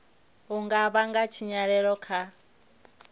u nga vhanga tshinyalelo kha